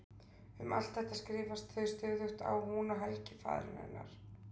Um allt þetta skrifast þau stöðugt á hún og Helgi faðir hennar.